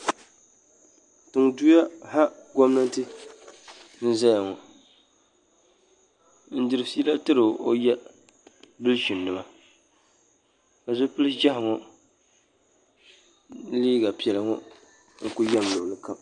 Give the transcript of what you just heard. Tiŋ duya ha gɔmnanti n zaya ŋɔ n diri fiila tiri o ya bilchin nima ka zipili ʒiɛhi ŋɔ ni liiga piɛla n ku yam luɣuli kam.